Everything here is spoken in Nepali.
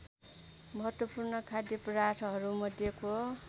महत्वपूर्ण खाद्य पदार्थहरूमध्येको